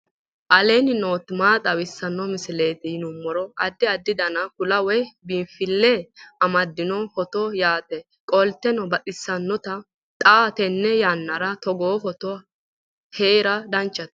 aleenni nooti maa xawisanno misileeti yinummoro addi addi dananna kuula woy biinfille amaddino footooti yaate qoltenno baxissannote xa tenne yannanni togoo footo haara danchate